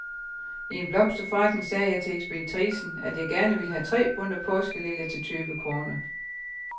I en blomsterforretning sagde jeg til ekspeditricen, at jeg gerne ville have tre bundter påskeliljer til tyve kroner.